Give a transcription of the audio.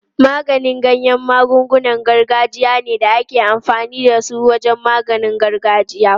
Maganin ganya magungunan gargajiya ne da ake amfani da su wajen maganin gargajiya.